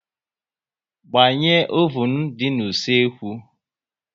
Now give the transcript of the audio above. Gbanye ovun dị n'usekwu